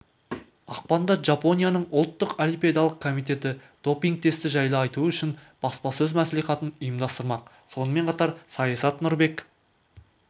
ақпанда жапонияның ұлттық олимпиадалық комитеті допинг-тесті жайлы айту үшін баспасөз мәслихатын ұйымдастырмақ сонымен қатар саясат нұрбек